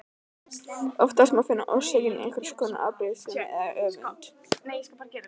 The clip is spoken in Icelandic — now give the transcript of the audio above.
Oftast má finna orsökina í einhvers konar afbrýðisemi eða öfund.